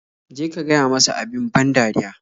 Je ka gaya masa abin ban dariya.